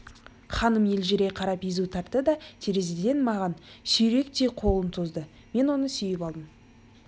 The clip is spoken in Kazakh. ханым елжірей қарап езу тартты да терезеден маған сүйріктей қолын созды мен оны сүйіп алдым